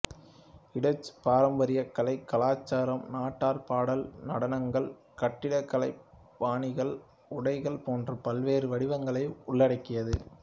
இடச்சு பாரம்பரிய கலை கலாச்சாரம் நாட்டார் பாடல் நடனங்கள் கட்டிடக்கலைப் பாணிகள் உடைகள் போன்ற பல்வேறு வடிவங்களை உள்ளடக்கியது